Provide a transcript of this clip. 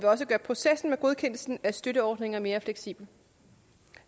også gøre processen med godkendelse af støtteordninger mere fleksibel